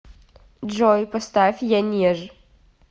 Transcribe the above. джой поставь янеж